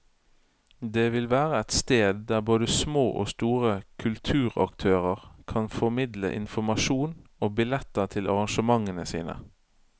Det vil være et sted der både små og store kulturaktører kan formidle informasjon og billetter til arrangementene sine.